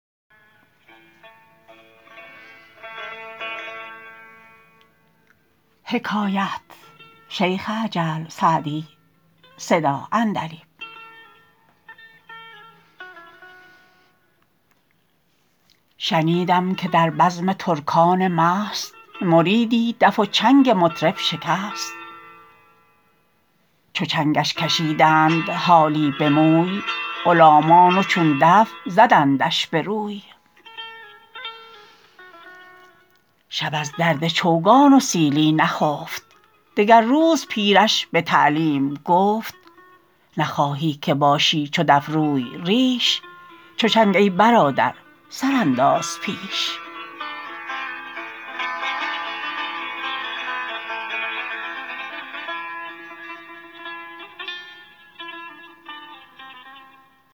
شنیدم که در بزم ترکان مست مریدی دف و چنگ مطرب شکست چو چنگش کشیدند حالی به موی غلامان و چون دف زدندش به روی شب از درد چوگان و سیلی نخفت دگر روز پیرش به تعلیم گفت نخواهی که باشی چو دف روی ریش چو چنگ ای برادر سر انداز پیش